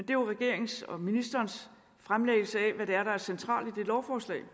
jo regeringens og ministerens fremlæggelse af hvad der er centralt i lovforslaget